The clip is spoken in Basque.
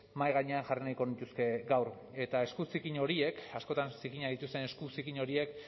mahai gainean jarri nahiko nituzke gaur eta esku zikin horiek askotan zikinak dituzten esku zikin horiek